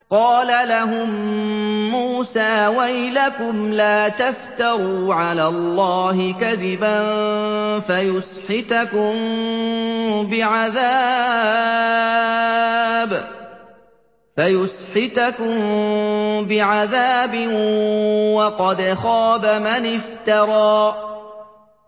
قَالَ لَهُم مُّوسَىٰ وَيْلَكُمْ لَا تَفْتَرُوا عَلَى اللَّهِ كَذِبًا فَيُسْحِتَكُم بِعَذَابٍ ۖ وَقَدْ خَابَ مَنِ افْتَرَىٰ